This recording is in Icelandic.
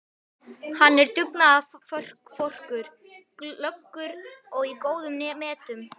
Hann var dugnaðarforkur, glöggur og í góðum metum.